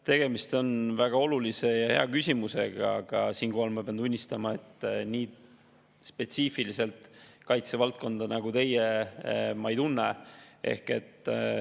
Tegemist on väga olulise ja hea küsimusega, aga siinkohal ma pean tunnistama, et kaitsevaldkonda ma nii spetsiifiliselt nagu teie ei tunne.